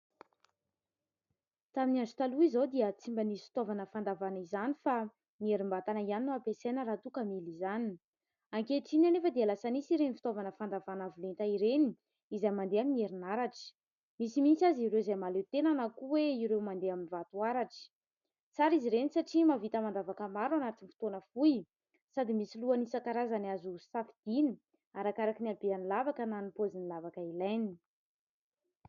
Tamin'ny andro taloha izao dia tsy mba nisy fitaovana fandavahana izany fa ny herim-batana ihany no ampiasaina raha toa ka mila izany. Ankehitriny anefa dia lasa nisy ireny fitaovana fandavahana avo lenta ireny, izay mandeha amin'ny herinaratra. Misy mihitsy aza ireo izay mahaleo tena na koa hoe ireo mandeha amin'ny vatoaratra. Tsara izy ireny satria mahavita mandavaka maro anatin'ny fotoana fohy, sady misy lohany isan-karazany azo safidiana arakaraka ny habean'ny lavaka na ny paozin'ny lavaka ilaina.